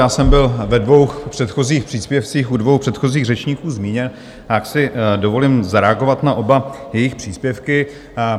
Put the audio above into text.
Já jsem byl ve dvou předchozích příspěvcích u dvou předchozích řečníků zmíněn, tak si dovolím zareagovat na oba jejich příspěvky.